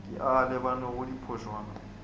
ke a a lebanego diphošwana